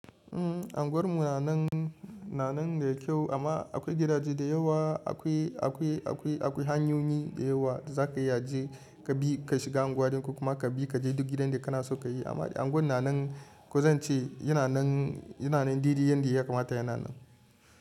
Umm, unguwar mu nanan, na nan da kyau amma akwai gidaje da yawa akwai, akwai, akwai, akwai hanyoyi da yawa da zaka iyaje kabi ka shiga unguwadin ko kuma kabi kaje duk gidanda kanaso kayi. Amma dai unguwar nanan ko zance yana nan, ya nanan dede yanda ya kamata ya nanan.